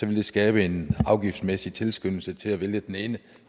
det skabe en afgiftsmæssig tilskyndelse til at vælge den ene